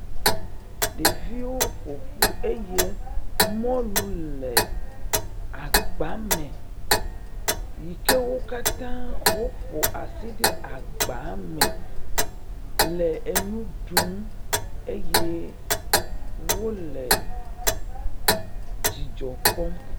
Ɖeviwo ƒo ƒu eye mɔlu le afba me yike wo katã woƒo aɖe agba me le enu ɖum eye wole dzidzɔ kpɔm.